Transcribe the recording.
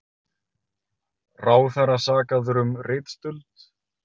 Ráðherra sakaður um ritstuld